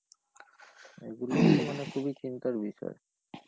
এগুলো তো মানে খুবই চিন্তার বিষয়,